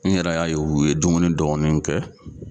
N yɛrɛ y'a ye u ye dumuni dɔɔni kɛ.